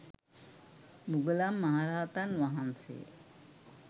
මුගලන් මහරහතන් වහන්සේ